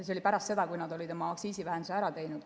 See oli pärast seda, kui nad olid oma aktsiisivähenduse ära teinud.